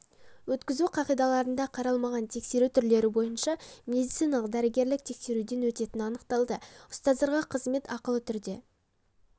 өткізу қағидаларында қаралмаған тексеру түрлері бойынша медициналық дәрігерлік тексеруден өтетіні анықталды ұстаздарға қызмет ақылы түрде